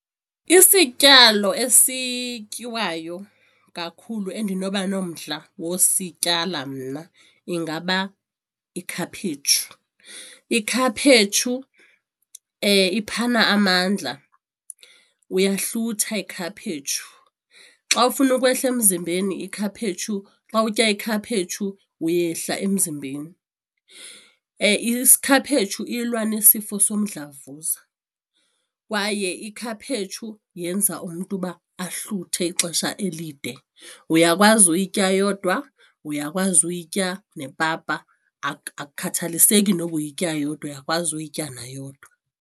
Isityalo esityiwayo kakhulu endinoba nomdla wosityala mna ingaba ikhaphetshu. Ikhaphetshu iphana amandla, uyahlutha yikhaphetshu. Xa ufuna ukwehla emzimbeni ikhaphetshu xa utya ikhaphetshu uyehla emzimbeni, ikhaphetshu ilwa nesifo somdlavuza kwaye ikhaphetshu yenza umntu uba ahluthe ixesha elide uyakwazi uyitya yodwa uyakwazi uyitya nepapa akukhathaliseki noba uyityayo yodwa uyakwazi uyitya na yodwa.